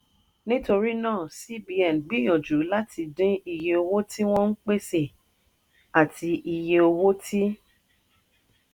nítorí náà cbn gbìyànjú láti dín iye owó tí wọ́n ń pèsè àti iye owó tí